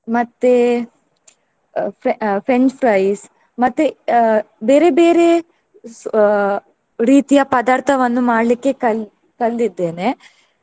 ಮತ್ತೆ fre~ french fries ಮತ್ತೆ ಅಹ್ ಬೇರೆ ಬೇರೆ ಅಹ್ ರೀತಿಯ ಪದಾರ್ಥವನ್ನು ಮಾಡ್ಲಿಕ್ಕೆ ಕಲ್~ ಕಲ್ದಿದ್ದೇನೆ.